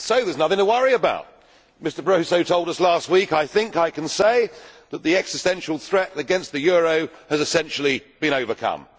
Mr President, we see there is nothing to worry about! Mr Barroso told us last week I think I can say that the existential threat against the euro has essentially been overcome.